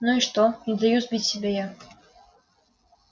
ну и что не даю сбить себя я